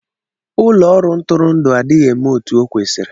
Ụlọ ọrụ ntụrụndụ adịghị eme otú o kwesịrị